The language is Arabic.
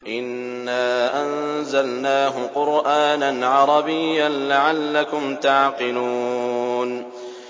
إِنَّا أَنزَلْنَاهُ قُرْآنًا عَرَبِيًّا لَّعَلَّكُمْ تَعْقِلُونَ